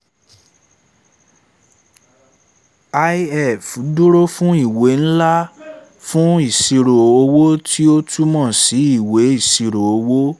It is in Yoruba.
lf dúró fún ìwé ńlá fun ìṣirò owó tí ó túmọ̀ sí ìwé ìṣirò owó